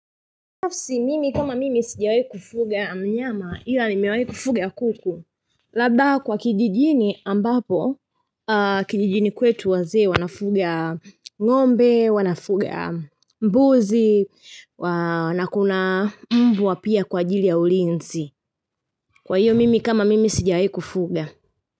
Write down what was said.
Nafsi mimi kama mimi sijawahi kufuga mnyama ila nimewahi kufuga kuku Labda kwa kijijini ambapo kijijini kwetu wazee wanafuga ngombe, wanafuga mbuzi, wana kuna mbwa pia kwa ajili ya ulinzi Kwa hiyo mimi kama mimi sijawahi kufuga.